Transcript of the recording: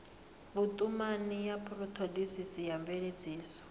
vhutumani ya thodisiso na mveledziso